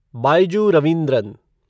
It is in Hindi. बाइजू रवींद्रन